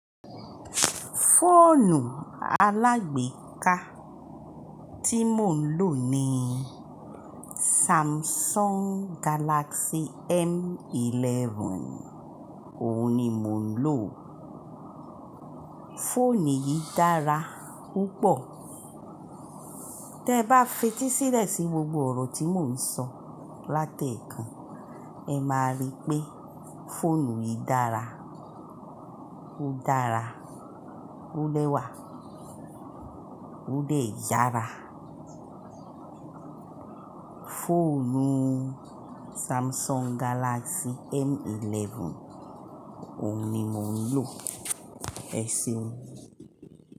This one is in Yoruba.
Fóònù alágbèéká tí mò ń lò ni Samsung Galaxy M11. Òun ni mò ń lò. Fóònù yìí dára púpọ̀. Tẹ bá fetí sílẹ̀ sí gbogbo òrò tí mò ń sọ láti èèkàn, ẹ máa rí pé fóònù yìí dára. Ó dára, ó lẹ́wà, ó dè yára. Fóònù Samsung Galaxy M11 òun ni mò ń lò, ẹ ṣeun.